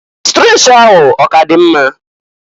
Strecha ahụ ọ k'adị mma?